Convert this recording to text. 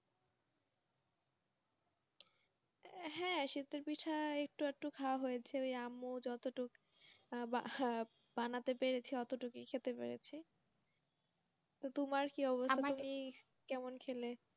হ্যাঁ শীত পিঠা একটু একটু খাওয়া হয়েছে আমু যত বানাতে পেরেছে অটোটুকু খেতে পেরেছি তোমার কি অবস্থা কেমন খেলে